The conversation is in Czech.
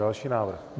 Další návrh.